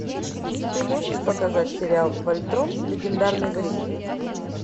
ты можешь показать сериал вольтрон легендарный защитник